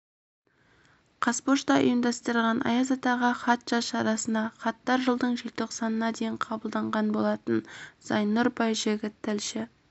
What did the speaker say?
қазпочта ұйымдастырған аяз атаға хат жаз шарасына хаттар жылдың желтоқсанына дейін қабылданған болатын зайнұр байжігіт тілші